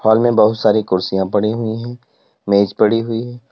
Hall में बहुत सारी कुर्सियां पड़ी हुई हैं। मेज पड़ी हुई है।